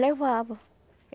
Levava.